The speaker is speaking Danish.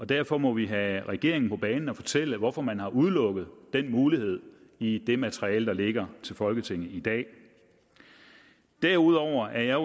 derfor må vi have regeringen på banen og fortælle hvorfor man har udelukket den mulighed i det materiale der ligger til folketinget i dag derudover er